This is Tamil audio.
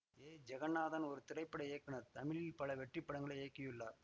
ஏ ஜெகந்நாதன் ஒரு திரைப்பட இயக்குநர் தமிழில் பல வெற்றிப்படங்களை இயக்கியுள்ளார்